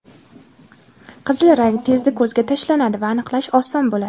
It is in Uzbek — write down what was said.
Qizil rang tezda ko‘zga tashlanadi va aniqlash oson bo‘ladi.